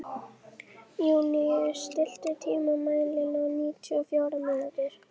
Júníus, stilltu tímamælinn á níutíu og fjórar mínútur.